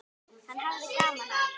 Hann hafði gaman af.